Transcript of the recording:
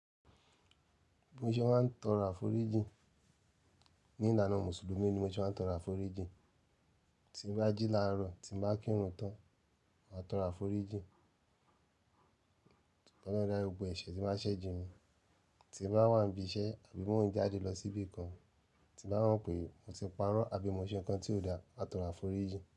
Mọ̀ ṣe máa ń tọrọ aforijiń. Ní ìlànà Mùsùlùmí ni mọ́ṣe máa ń tọro aforijìń. Tí mo bá jí láàárọ̀, tí mo bá kírun tán, máa tọro aforíjìń. K'ọlọrun dárí gbogbo ẹ̀ṣẹ̀ tí mo bá ṣé jìnmí, tí mo bá wà n biṣẹ àbí mo ń jáde lọ sí ibìkan tí mo bá mọ̀ pé mo ti parọ́ àbí mo ṣe ǹkan tí ò dáa, máa tọrọ àforíjì.